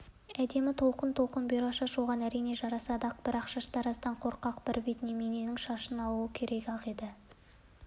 әдемі толқын-толқын бұйра шаш оған әрине жарасады-ақ бірақ шаштараздан қорқақ бірбет неменің шашын алу керек-ақ еді